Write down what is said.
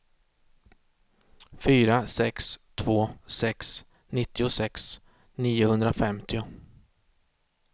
fyra sex två sex nittiosex niohundrafemtio